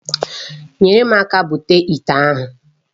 Nyere m aka butuo ite ahụ